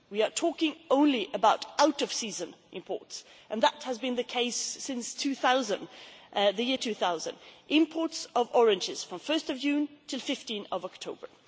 We are talking only about out of season imports and that has been the case since the year 2000 imports of oranges from 1 June to 15 October.